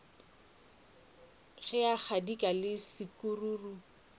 ge kgadika le sekukuru ba